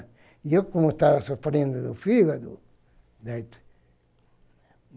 E eu como estava sofrendo do fígado.